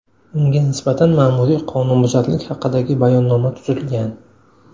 Unga nisbatan ma’muriy qonunbuzarlik haqidagi bayonnoma tuzilgan.